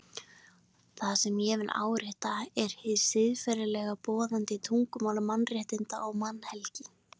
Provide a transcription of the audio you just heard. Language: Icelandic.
Það sem ég vil árétta er hið siðferðilega, boðandi tungumál mannréttinda og mannhelgi.